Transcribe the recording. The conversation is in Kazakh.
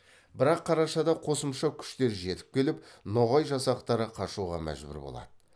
бірақ қарашада қосымша күштер жетіп келіп ноғай жасақтары қашуға мәжбүр болады